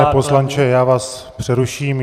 Pane poslanče, já vás přeruším.